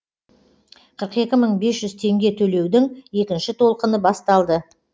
қырық екі мың бес жүз теңге төлеудің екінші толқыны басталды